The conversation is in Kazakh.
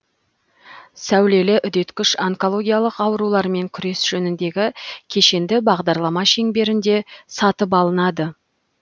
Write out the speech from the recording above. сәулелі үдеткіш онкологиялық аурулармен күрес жөніндегі кешенді бағдарлама шеңберінде сатып алынады